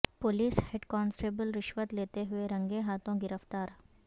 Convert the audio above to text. police head constable رشوت لیتے ہوئے رنگے ہاتھوں گرفتار